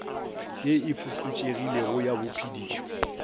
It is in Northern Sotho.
ye e fokotšegilego ya bophedišo